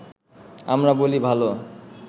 আমরা বলি ভালো